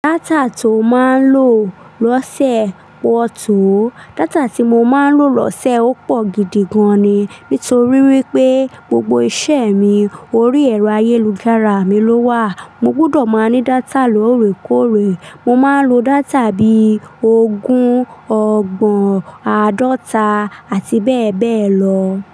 Data to maa n lo lọ́sẹ̀ pọ̀ tó. Data tí mo máa ń lò lọ́sẹ̀ ó pọ̀ gidi gan ni. Nítorí wípé gbogbo iṣẹ́ mi orí ẹ̀rọ ayélujára mi ló wà. Mo gbúdọ̀ máa ní data lóòrèkóòrè. Mo máa ń lo data bí ogún ọgbọ̀n àádọta àti bẹ́ẹ̀ bẹ́ẹ̀ lọ.